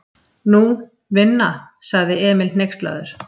Nú, vinna, sagði Emil hneykslaður.